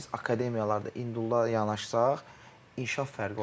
Biz akademiyalarda individual yanaşsaq inkişaf fərqi olacaq.